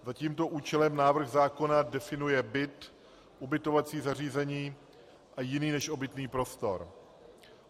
Za tímto účelem návrh zákona definuje byt, ubytovací zařízení a jiný než obytný prostor.